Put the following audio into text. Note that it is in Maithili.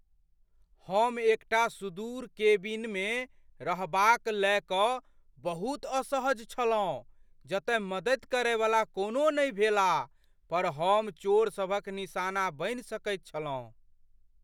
हम एकटा सुदूर केबिनमे रहबाक लय कऽ बहुत असहज छलहुँ जतय मदति करयवला कोनो नहि भेला पर हम चोरसभक निशाना बनि सकैत छलहुँ।